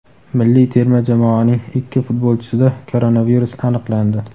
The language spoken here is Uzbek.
Milliy terma jamoaning ikki futbolchisida koronavirus aniqlandi.